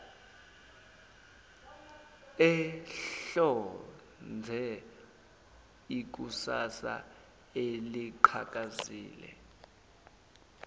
ehlonze ikusasa eliqhakazile